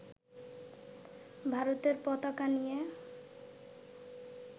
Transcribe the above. ভারতের পতাকা নিয়ে